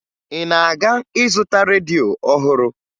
Ị na-aga ịzụta redio ọhụrụ?